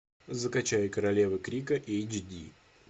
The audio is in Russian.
закачай королева крика эйч ди